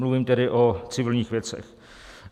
Mluvím tedy o civilních věcech.